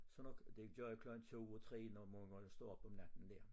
Så når det gjorde jeg klokken 2 og 3 når nogen gange stod op om natten dér